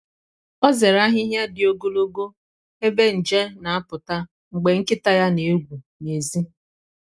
ọ zere ahịhịa dị ogologo ebe nje na-apụta mgbe nkịta ya na-egwu n’èzí.